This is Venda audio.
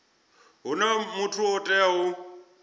huna muthu o teaho u